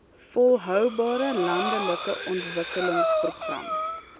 volhoubare landelike ontwikkelingsprogram